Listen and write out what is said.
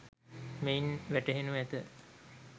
මෙයින් වැටහෙනු ඇත